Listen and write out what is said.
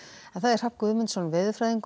Hrafn Guðmundsson veðurfræðingur